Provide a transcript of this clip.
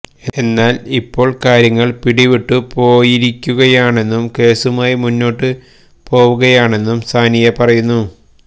എന്നാല് ഇപ്പോള് കാര്യങ്ങള് പിടിവിട്ടു പോയിരിക്കുകയാണെന്നും കേസുമായി മുന്നോട്ട് പോവുകയാണെന്നും സാനിയ പറയുന്നു